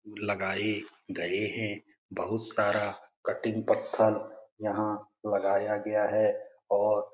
लगाए गए हैं बहुत सारा कटिंग पत्थर यहाँ लगाया गया है और --